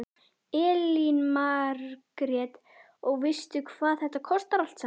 Elín Margrét: Og veistu hvað þetta kostar allt saman?